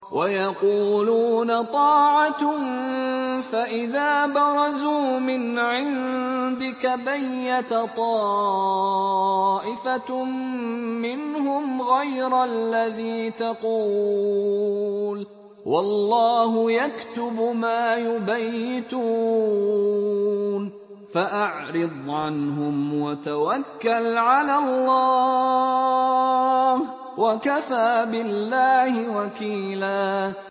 وَيَقُولُونَ طَاعَةٌ فَإِذَا بَرَزُوا مِنْ عِندِكَ بَيَّتَ طَائِفَةٌ مِّنْهُمْ غَيْرَ الَّذِي تَقُولُ ۖ وَاللَّهُ يَكْتُبُ مَا يُبَيِّتُونَ ۖ فَأَعْرِضْ عَنْهُمْ وَتَوَكَّلْ عَلَى اللَّهِ ۚ وَكَفَىٰ بِاللَّهِ وَكِيلًا